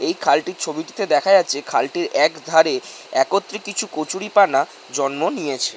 এই খালটির ছবিটিতে দেখা যাচ্ছে খালটির এক ধারে একত্রি কিছু কচুরিপানা জন্ম নিয়েছে।